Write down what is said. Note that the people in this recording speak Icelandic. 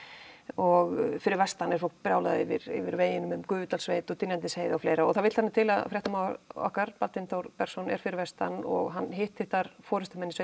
og fyrir vestan er fólk brjálað yfir yfir veginum um Gufudalssveit og Dynjandisheiði og fleira og það vill þannig til að fréttamaður okkar Baldvin Þór Bergsson er fyrir vestan og hann hitti þar forystumenn í